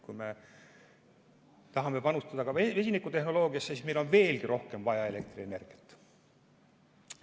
Kui me tahame panustada vesinikutehnoloogiasse, siis on meil veelgi rohkem elektrienergiat vaja.